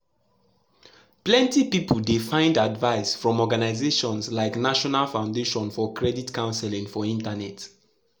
plenty pipu dey find advice from organizations like national foundation for credit counseling for internet.